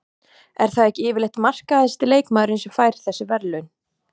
Er það ekki yfirleitt markahæsti leikmaðurinn sem fær þessi verðlaun?